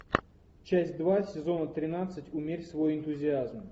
часть два сезона тринадцать умерь свой энтузиазм